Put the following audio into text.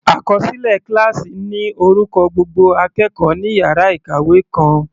Àkọsílẹ kíláásì ní orúkọ gbogbo akẹ́kọ̀ọ́ ní yàrá ìkàwé kan.